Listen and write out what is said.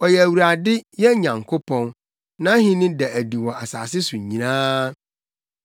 Ɔyɛ Awurade, yɛn Nyankopɔn. Nʼahenni da adi wɔ asase so nyinaa.